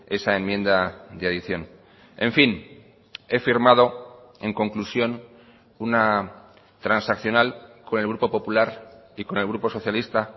esa enmienda de adición en fin he firmado en conclusión una transaccional con el grupo popular y con el grupo socialista